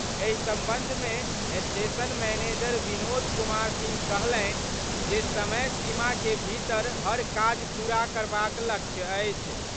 एहि संबंध मे स्टेशन मैनेज विनोद कुमार सिंह कहलनि जे समय सीम के भीतर हर काज पूरा करबाक लक्ष्य अछि।